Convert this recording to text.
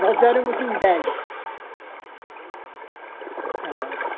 Nós éramos em dez.